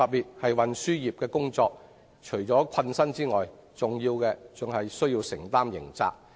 從事運輸業除了困身外，更有機會承擔刑責。